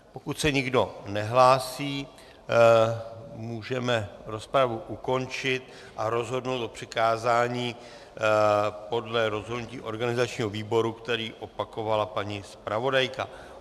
Pokud se nikdo nehlásí, můžeme rozpravu ukončit a rozhodnout o přikázání podle rozhodnutí organizačního výboru, které opakovala paní zpravodajka.